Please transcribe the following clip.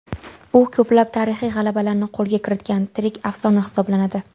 U ko‘plab tarixiy g‘alabalarni qo‘lga kiritgan tirik afsona hisoblanadi.